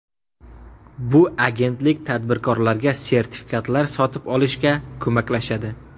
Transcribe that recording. Bu agentlik tadbirkorlarga sertifikatlar sotib olishga ko‘maklashadi.